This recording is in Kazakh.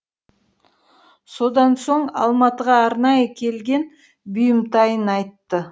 содан соң алматыға арнайы келген бұйымтайын айтты